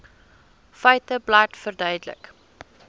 feiteblad verduidelik